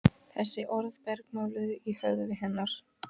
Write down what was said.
Þessi orð bergmáluðu í höfði hennar.